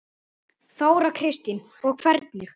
Þóra Kristín: Og hvernig?